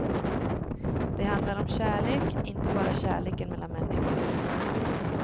Det handlar om kärlek, inte bara kärleken mellan människor.